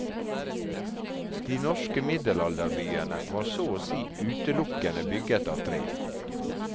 De norske middelalderbyene var så å si utelukkende bygget av tre.